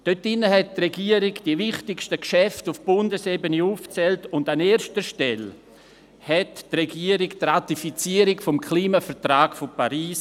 Darin hat die Regierung die wichtigsten Geschäfte auf Bundesebene aufgezählt, und an erster Stelle erwähnte die Regierung die Ratifizierung des Klimavertrags von Paris.